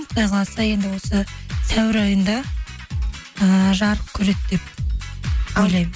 құдай қаласа енді осы сәуір айында ыыы жарық көреді деп ойлаймын